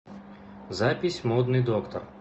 запись модный доктор